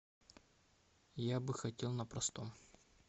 я бы хотел на простом